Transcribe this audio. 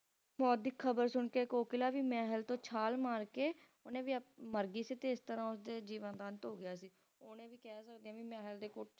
ਮੌਤ ਦੀ ਖਬਰ ਸੁਣਕੇ Kokla ਵੀ ਮਹਿਲ ਤੋਂ ਛਾਲ ਮਾਰਕੇ ਉਹਨੇ ਵੀ ਆਪ ਮਰ ਗਈ ਸੀ ਤੇ ਇਸ ਤਰਾਂ ਉਸਦੇ ਜੀਵਨ ਦਾ ਅੰਤ ਹੋ ਗਿਆ ਸੀ ਹੁਣ ਇਹ ਵੀ ਕਹਿ ਸਕਦੇ ਆ ਵੀ ਮਹਿਲ ਦੇ ਕੋਠੇ